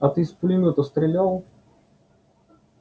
а ты с пулемёта стрелял